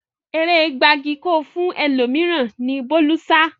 Eré gbagiì-ko-fún-ẹlòmíràn ni Bólú sá